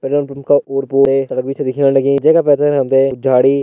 petrol pump का ओर पोर ते जगह भी छ दिखेण लगीं जैका पैथर हम ते कुछ झाड़ी --